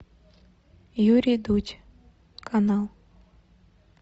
юрий дудь канал